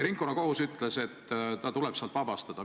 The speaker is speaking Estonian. Ringkonnakohus ütles, et ta tuleb sealt vabastada.